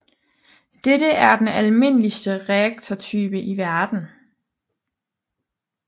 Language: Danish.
Dette er den almindeligste reaktortype i verden